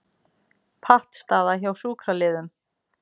Pattstaða hjá sjúkraliðum